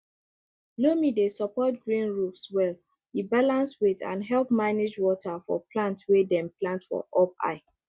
loam dey support green roofs well e balance weight and help manage water for plants wey dem plant for up high